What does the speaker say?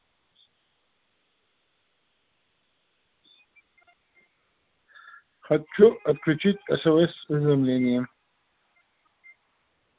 хочу отключить смс-уведомления